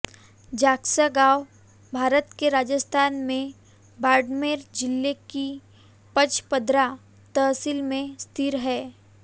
जागसा गाँव भारत के राजस्थान में बाड़मेर जिले की पचपदरा तहसील में स्थित है